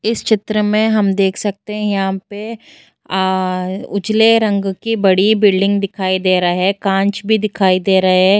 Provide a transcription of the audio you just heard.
इस चित्र में हम देख सकते हैं यहाँ पे आ उजले रंग की बड़ी बिल्डिंग दिखाई दे रह है कांच भी दिखाई दे रहे।